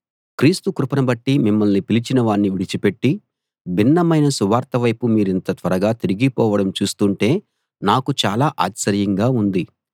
క్రీస్తు కృపను బట్టి మిమ్మల్ని పిలిచినవాణ్ణి విడిచిపెట్టి భిన్నమైన సువార్త వైపు మీరింత త్వరగా తిరిగిపోవడం చూస్తుంటే నాకు చాలా ఆశ్చర్యంగా ఉంది